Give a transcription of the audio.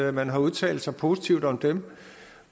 at man har udtalt sig positivt om dem